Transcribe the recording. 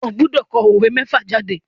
O gbọdọ̀ kọ òwe mẹ́fà jáde.